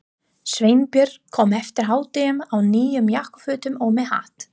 Sveinbjörn kom eftir hádegi í nýjum jakkafötum og með hatt.